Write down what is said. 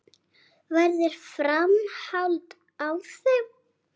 Verður framhald á þeim?